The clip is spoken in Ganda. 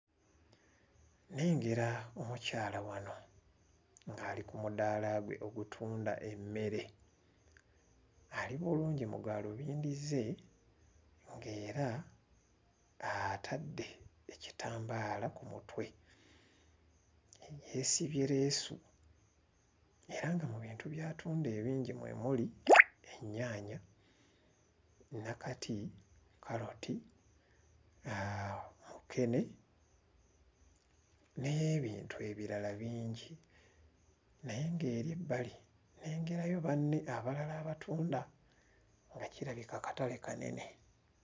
Nnengera omukyala wano ng'ali ku mudaala gwe ogutunda emmere ali bulungi mu gaalubindi ze ng'era atadde ekitambaala ku mutwe yeesibye leesu era nga mu bintu by'atunda ebingi mwe muli ennyaanya, nnakati, kkaloti uh mukene n'ebintu ebirala bingi naye ng'eri ebbali nnengerayo banne abalala abatunda nga kirabika katale kanene.